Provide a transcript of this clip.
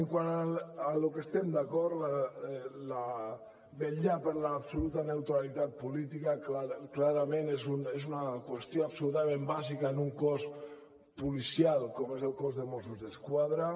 quant al que estem d’acord vetllar per l’absoluta neutralitat política clarament és una qüestió absolutament bàsica en un cos policial com és el cos de mossos d’esquadra